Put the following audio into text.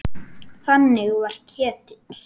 Þannig var Ketill.